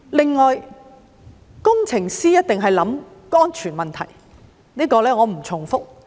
此外，工程師一定考慮安全問題，這點我不重複。